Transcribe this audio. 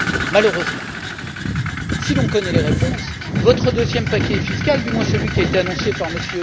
Malheureusement, si nous connaissons les réponses, votre deuxième paquet fiscal du moins celui qui a été annoncé par M.